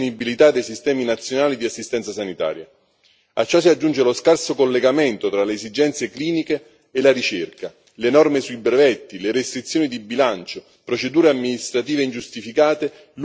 A ciò si aggiunge lo scarso collegamento tra le esigenze cliniche e la ricerca, le norme sui brevetti, le restrizioni di bilancio, procedure amministrative ingiustificate, lunghi intervalli tra le autorizzazioni all'immissione in commercio.